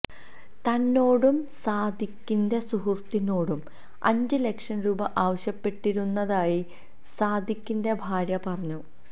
തന്നോടും സാദിഖിന്റെ സുഹൃത്തിനോടും അഞ്ച് ലക്ഷം രൂപ ആവശ്യപ്പെട്ടിരുന്നതായി സാദിഖിന്റെ ഭാര്യ പറഞ്ഞു